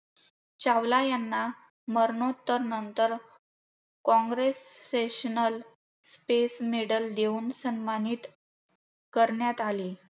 चावला यांना मरणोत्तर नंतर congressional Space Medal देऊन सन्मानित करण्यात आले.